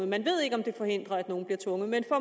man ved ikke om det forhindrer at nogle bliver tvunget